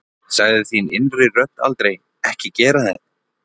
Sagði þín innri rödd aldrei Ekki gera þetta?